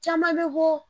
Caman bɛ bɔ